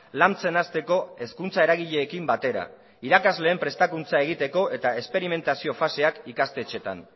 lantzen hasteko hezkuntza eragileekin batera irakasleen prestakuntza egiteko eta esperimentazio faseak ikastetxeetan